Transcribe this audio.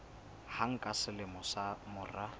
hang ka selemo ka mora